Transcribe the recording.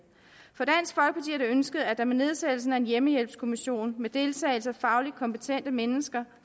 ønsket at der med nedsættelsen af en hjemmehjælpskommission med deltagelse af fagligt kompetente mennesker